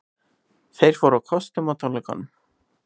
Þeir fóru á kostum á tónleikunum